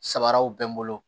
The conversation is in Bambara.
Sabaraw bɛ n bolo